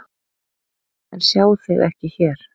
En sjá þig ekki hér.